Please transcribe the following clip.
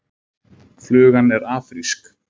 Flugan er afrísk.